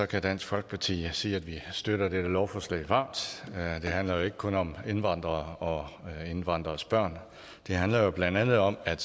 kan dansk folkeparti sige at vi støtter dette lovforslag varmt det handler jo ikke kun om indvandrere og indvandreres børn det handler jo blandt andet om at